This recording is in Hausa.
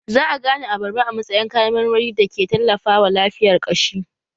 Za a gane abarba a matsayin kayan marmari da ke tallafawa lafiyar ƙashi